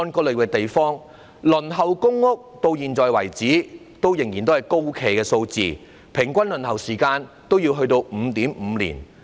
截至目前，輪候公屋的人數仍然高企，輪候平均需時 5.5 年。